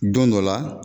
Don dɔ la